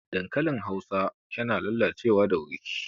Dankalin Hausar yana lalacewa da wuri